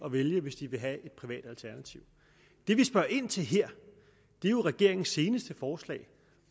at vælge hvis de vil have et privat alternativ det vi spørger ind til her er jo regeringens seneste forslag